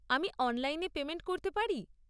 আমি অনলাইনে পেমেন্ট করতে পারি?